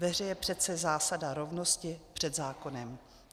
Ve hře je přece zásada rovnosti před zákonem.